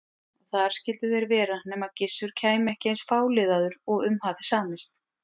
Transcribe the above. Og þar skyldu þeir vera nema Gissur kæmi ekki eins fáliðaður og um hafði samist.